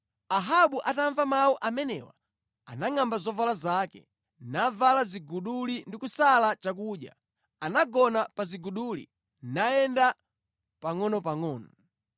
Ahabu atamva mawu amenewa, anangʼamba zovala zake, navala ziguduli ndi kusala chakudya. Anagona pa ziguduli, nayenda pangʼonopangʼono.